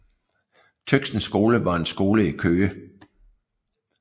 Tøxens Skole var en skole i Køge